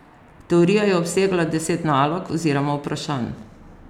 Teorija je obsegala deset nalog, oziroma vprašanj.